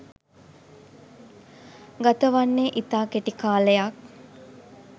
ගතවන්නේ ඉතා කෙටි කාලයක්